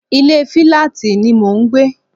Ilé filati ni mò ń gbé